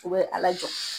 U bɛ ala jɔ